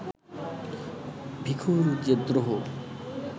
ভিখুর যে দ্রোহ